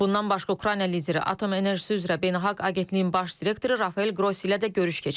Bundan başqa, Ukrayna lideri Atom Enerjisi üzrə Beynəlxalq Agentliyin baş direktoru Rafael Qrossi ilə də görüş keçirib.